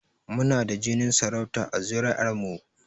Mu na da jinin sarauta a zuri'ar mu